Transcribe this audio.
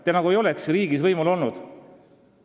Te nagu ei olekski riigis võimul olnud.